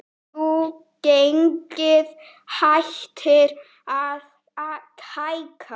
Jú, gengið hættir að hækka.